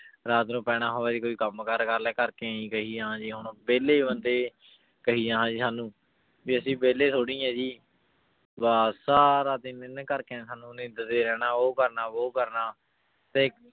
ਰਾਤ ਨੂੰ ਪੈਣਾ ਹੋਵੇ ਜੀ ਕੋਈ ਕੰਮ ਕਾਰ ਕਰ ਲੈ, ਘਰ ਕੇ ਇਉਂ ਹੀ ਕਹੀ ਜਾਣਾ ਜੀ ਹੁਣ, ਵਿਹਲੇ ਬੰਦੇ ਕਹੀ ਜਾਣਾ ਜੀ ਸਾਨੂੰ, ਵੀ ਅਸੀਂ ਵਿਹਲੇ ਥੋੜ੍ਹੀ ਹਾਂ ਜੀ, ਬਸ ਸਾਰਾ ਦਿਨ ਇਹਨੇ ਘਰਦਿਆਂ ਨੇ ਸਾਨੂੰ ਨਿੰਦਦੇ ਰਹਿਣਾ ਉਹ ਕਰਨਾ ਉਹ ਕਰਨਾ, ਤੇ